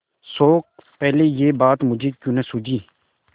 शोक पहले यह बात मुझे क्यों न सूझी